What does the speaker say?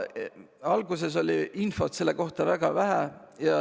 Alguses oli infot selle kohta väga vähe.